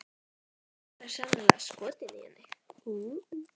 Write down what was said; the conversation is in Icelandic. Garðar er sennilega skotinn í henni.